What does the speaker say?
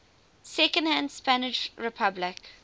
second spanish republic